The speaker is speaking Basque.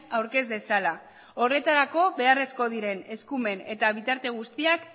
aurkez dezala horretarako beharrezko diren eskumen eta bitarte guztiak